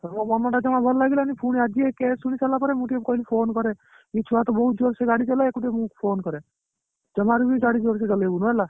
ମୋ ମନଟା ଜମା ଭଲ ଲାଗିଲାନି ଫୁଣି ଆଜି ଏଇ case ଶୁଣିସାରିଲା ପରେ ମୁ ଟିକେ କହିଲି phone କରେ ଇଏ ଛୁଆ ତ ବହୁତ ଜୋର ସେଗାଡି ଚଲାଏ ଆକୁ ଟିକେ ମୁ phone କରେ ଜମାରୁ ବି ଗାଡି ଜୋରସେ ଚଲେଇବୁନି ହେଲା